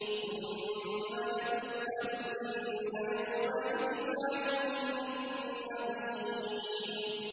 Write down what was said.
ثُمَّ لَتُسْأَلُنَّ يَوْمَئِذٍ عَنِ النَّعِيمِ